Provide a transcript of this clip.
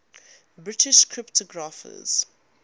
british cryptographers